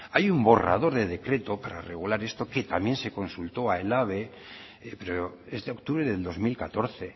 hay un borrador de decreto para regular esto que también se consultó a elhabe pero es de octubre del dos mil catorce